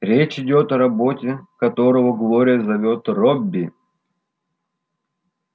речь идёт о работе которого глория зовёт робби